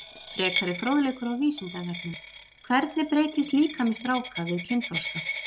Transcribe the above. Frekari fróðleikur á Vísindavefnum: Hvernig breytist líkami stráka við kynþroska?